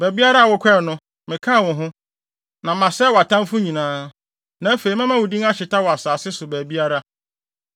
Baabiara a wokɔe no, mekaa wo ho. Na masɛe wʼatamfo nyinaa. Na afei, mɛma wo din ahyeta wɔ asase so baabiara.